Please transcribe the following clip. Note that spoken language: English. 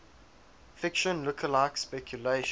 fiction lookalike speculation